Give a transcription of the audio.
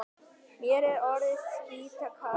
Mér er orðið skítkalt.